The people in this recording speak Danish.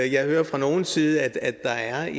jeg hører fra nogles side at der er